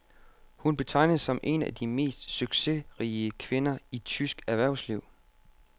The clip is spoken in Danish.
Hun betegnes som en af de mest succesrige kvinder i tysk erhvervsliv.